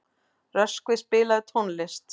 Röskvi, spilaðu tónlist.